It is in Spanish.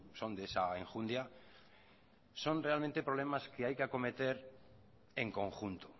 son de esa enjundia son realmente problemas que hay que acometer en conjunto